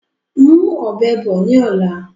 Mú ọ̀bẹ bọ̀ ni ọ̀la!